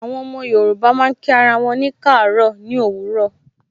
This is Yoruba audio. Àwọn ọmọ Yorùbá máa ń kí ara wọn kaaro ni òwúrọ̀.